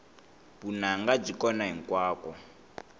vunanga byi kona hinkwako